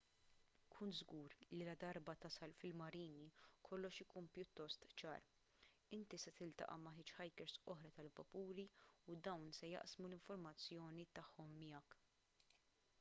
kun żgur li ladarba tasal fil-marini kollox ikun pjuttost ċar inti se tiltaqa' ma' hitchhikers oħra tal-vapuri u dawn se jaqsmu l-informazzjoni tagħhom miegħek